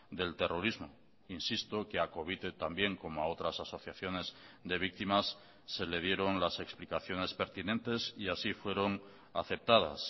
del terrorismo insisto que a covite también como a otras asociaciones de víctimas se le dieron las explicaciones pertinentes y así fueron aceptadas